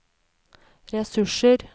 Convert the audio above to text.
ressurser